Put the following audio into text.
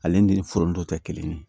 Ale ni foronto tɛ kelen ye